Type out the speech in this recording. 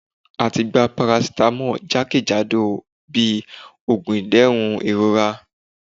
À tí gbá paracetamol jákéjádọ bi oògùn ìdérún ìrorá